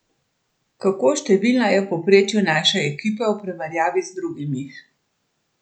Kako številna je v povprečju naša ekipa v primerjavi z drugimi?